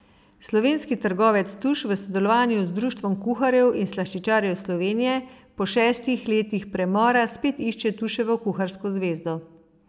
Slovenski trgovec Tuš v sodelovanju z Društvom kuharjev in slaščičarjev Slovenije po šestih letih premora spet išče Tuševo kuharsko zvezdo.